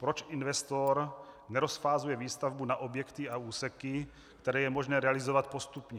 Proč investor nerozfázuje výstavbu na objekty a úseky, které je možné realizovat postupně?